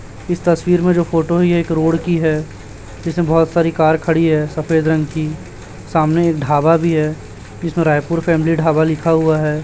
इस तस्वीर में जो फोटो है ये एक रोड की है जिसमें बहोत सारी कार खड़ी है सफेद रंग की सामने एक ढाबा भी है जिसमें रायपुर का एम_डी ढाबा लिखा हुआ है।